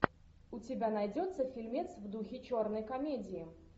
у тебя найдется фильмец в духе черной комедии